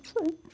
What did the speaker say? isso aí.